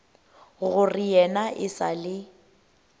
gore yena e sa le